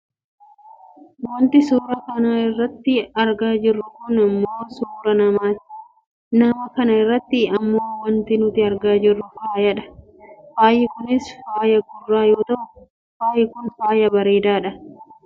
Wanti nuti suuraa kana irratti argaa jirru kun ammoo suuraa namaati. Nama kana irratti ammoo wanti nuti argaa jirru faaya dha. Faayi kunis faaya gurraa yoo ta'u faayi kun faaya bareedduudha.